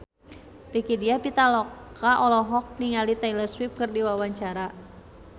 Rieke Diah Pitaloka olohok ningali Taylor Swift keur diwawancara